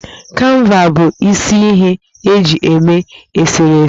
Kanva bụ isi ihe e ji eme eserese